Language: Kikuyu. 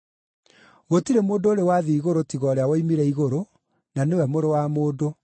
Gũtirĩ mũndũ ũrĩ wathiĩ igũrũ tiga ũrĩa woimire igũrũ, na nĩwe Mũrũ wa Mũndũ.”